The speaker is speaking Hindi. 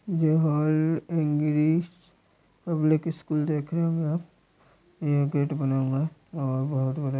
ये हॉल पब्लिक स्कूल देख रहे होंगे आप ये गेट बना हुआ है और बहुत बड़ा --